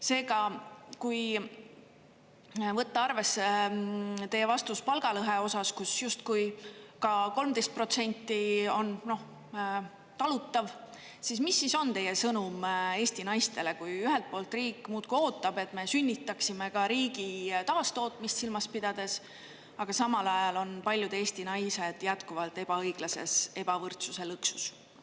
Seega, kui võtta arvesse teie vastus palgalõhe osas, kus justkui ka 13 protsenti on talutav, siis mis siis on teie sõnum Eesti naistele, kui ühelt poolt riik muudkui ootab, et me sünnitaksime ka riigi taastootmist silmas pidades, aga samal ajal on paljud Eesti naised jätkuvalt ebaõiglases ebavõrdsuse lõksus.